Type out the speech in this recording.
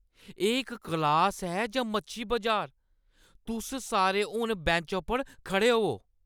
एह् इक क्लास ऐ जां मच्छी बजार? तुस सारे हून बैंचें पर खड़े होवो !